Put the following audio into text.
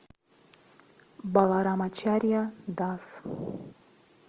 баларамачарья дас